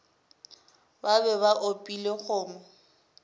ba be ba opile kgomo